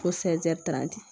Ko